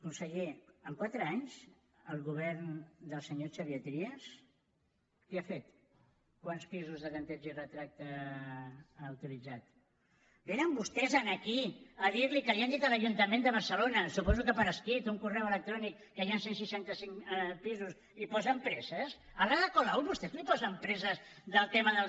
conseller en quatre anys el govern del senyor xavier trias què ha fet quants pisos de tanteig i retracte ha utilitzat vénen vostès aquí a dirli que li han dit a l’ajuntament de barcelona suposo que per escrit un correu electrònic que hi han cent i seixanta cinc pisos i hi posen presses a l’ada colau vostès li posen presses pel tema dels